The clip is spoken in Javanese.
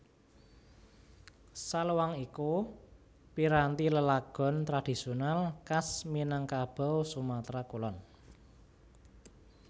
Saluang iku piranti lelagon tradhisional khas Minangkabau Sumatra Kulon